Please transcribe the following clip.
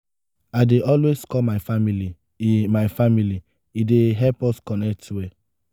i dey always call my family; e my family; e dey help us connect well.